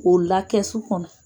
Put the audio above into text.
K'o la kɛsu kɔnɔ